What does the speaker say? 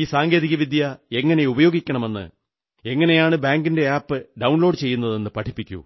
ഈ സങ്കേതികവിദ്യ എങ്ങനെ ഉപയോഗിക്കണമെന്ന് എങ്ങനെയാണ് ബാങ്കിന്റെ ആപ് ഡൌൺലോഡു ചെയ്യുന്നതെന്ന് പഠിപ്പിക്കൂ